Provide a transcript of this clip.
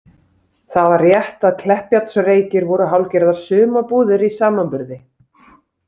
Það var rétt að Kleppjárnsreykir voru hálfgerðar sumarbúðir í samanburði.